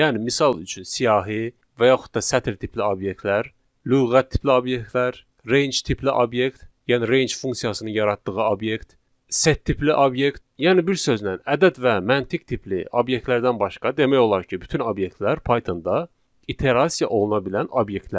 Yəni misal üçün siyahı və yaxud da sətr tipli obyektlər, lüğət tipli obyektlər, range tipli obyekt, yəni range funksiyasının yaratdığı obyekt, set tipli obyekt, yəni bir sözlə ədəd və məntiq tipli obyektlərdən başqa demək olar ki, bütün obyektlər Pythonda iterasiya oluna bilən obyektlərdir.